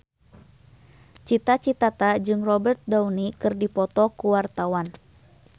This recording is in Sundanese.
Cita Citata jeung Robert Downey keur dipoto ku wartawan